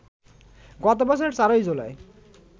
গত বছরের ৪ জুলাই